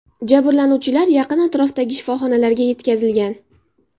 Jabrlanuvchilar yaqin atrofdagi shifoxonalarga yetkazilgan.